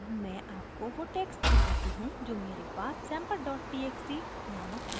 अब मैं आपको वो टेक्स्ट दिखाती हूँ जो मेरे पास sample dot txt नामक फाइल में है